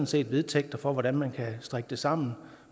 set vedtægter for hvordan man kan strikke det sammen og